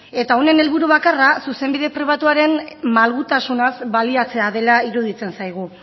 eta honen helburu bakarra zuzenbide pribatuaren malgutasunaz baliatzea dela iruditzen zaigu